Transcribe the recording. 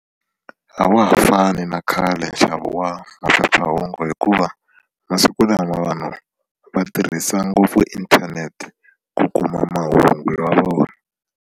A wa ha fani na khale nxavo wa maphephahungu hikuva masiku lama vanhu va tirhisa ngopfu inthanete ku kuma mahungu ya vona.